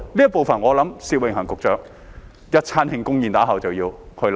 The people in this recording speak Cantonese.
這部分我想薛永恒局長在一頓慶功宴之後便要考慮。